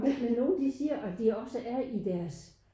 Men nogen de siger at de også er i deres